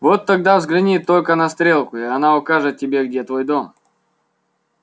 вот тогда взгляни только на стрелку и она укажет тебе где твой дом